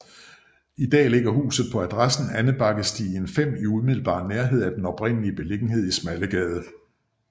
I dag ligger huset på adressen Andebakkesti 5 i umiddelbar nærhed af den oprindelige beliggenhed i Smallegade